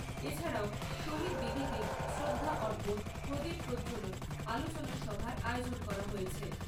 এছাড়াও শহীদ বেদীতে শ্রদ্ধা অর্পণ, প্রদীপ প্রজ্জ্বলন, আলোচনা সভার আয়োজন করা হয়েছে।